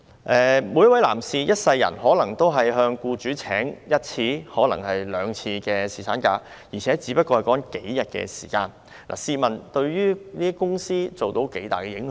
每一位男士一生中可能只會向僱主申請放取一次或兩次侍產假，而所說的只是數天時間，試問這能對公司造成多大影響？